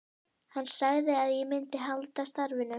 Hann sagði að ég myndi halda starfinu.